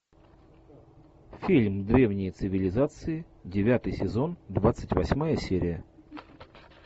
фильм древние цивилизации девятый сезон двадцать восьмая серия